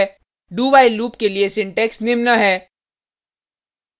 dowhile loop के लिए syntax निम्न है